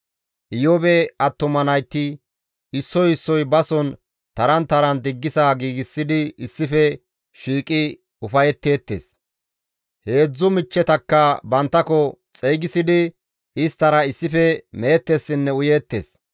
Iyoobe attuma nayti issoy issoy bason taran taran diggisa giigsidi issife shiiqi ufayetteettes; heedzdzu michchetakka banttako xeygisidi isttara issife meettessinne uyeettes.